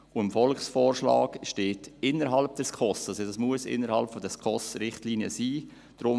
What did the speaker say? Und im Volksvorschlag steht: «innerhalb der SKOS-Richtlinien», wonach es also innerhalb der SKOSRichtlinien sein muss.